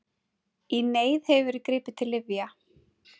Í neyð hefur verið gripið til lyfja.